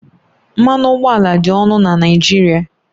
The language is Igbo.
Mmanụ ụgbọala dị ọnụ na Naịjirịa